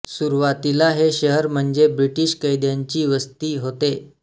सुरूवातीला हे शहर म्हणजे ब्रिटीश कैद्यांची वस्ती होते